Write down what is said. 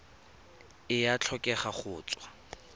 e a tlhokega go tswa